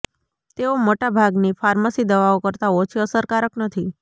તેઓ મોટા ભાગની ફાર્મસી દવાઓ કરતા ઓછી અસરકારક નથી